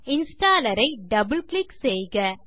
installer ஐ double click செய்க